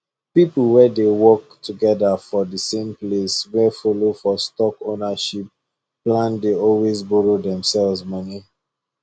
people wey dey work together for the same place wey follow for stock ownership plan dey always borrow themselves money